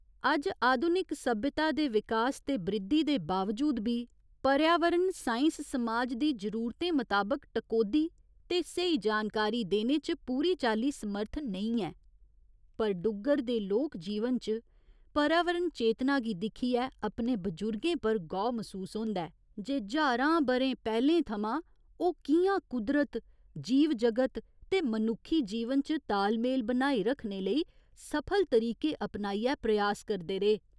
अज्ज आधुनिक सभ्यता दे विकास ते बृद्धि दे बावजूद बी पर्यावरण साइंस समाज दी जरूरतें मताबक टकोह्दी ते स्हेई जानकारी देने च पूरी चाल्ली समर्थ नेईं ऐ पर डुग्गर दे लोक जीवन च पर्यावरण चेतना गी दिक्खियै अपने बजुर्गें पर गौह् मसूस होंदा ऐ जे ज्हारां ब'रें पैह्‌लें थमां ओह् कि'यां कुदरत, जीव जगत ते मनुक्खी जीवन च तालमेल बनाई रक्खने लेई सफल तरीके अपनाइयै प्रयास करदे रेह्।